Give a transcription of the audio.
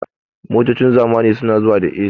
Motocin zamani su na zuwa da "A.C"